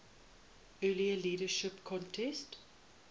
earlier leadership contest